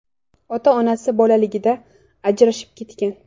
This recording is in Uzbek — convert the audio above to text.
Ota-onasi bolaligida ajrashib ketgan.